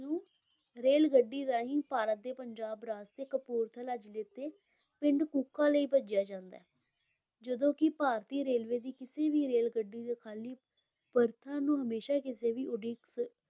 ਰੇਲਗੱਡੀ ਰਾਹੀਂ ਭਾਰਤ ਦੇ ਪੰਜਾਬ ਰਾਜ ਦੇ ਕਪੂਰਥਲਾ ਜ਼ਿਲੇ ਦੇ ਪਿੰਡ ਕੂਕਾ ਲਈ ਭੇਜਿਆ ਜਾਂਦਾ ਹੈ ਜਦੋਂ ਕਿ ਭਾਰਤੀ ਰੇਲਵੇ ਦੀ ਕਿਸੇ ਵੀ ਰੇਲਗੱਡੀ 'ਤੇ ਖਾਲੀ ਬਰਥਾਂ ਨੂੰ ਹਮੇਸ਼ਾ ਕਿਸੇ ਵੀ ਉਡੀਕ